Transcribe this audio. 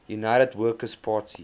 united workers party